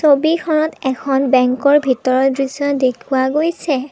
ছবিখনত এখন বেংকৰ ভিতৰৰ দৃশ্য দেখুৱা গৈছে।